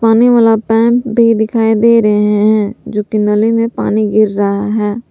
वाला पाइप भी दिखाई दे रहे है जो कि नाले में पानी गिर रहा है।